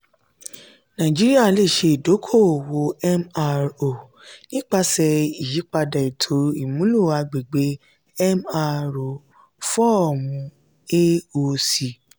naijiria le ṣe idoko-owo mro nipasẹ iyipada eto imulo agbegbe mro fọọmu aoc.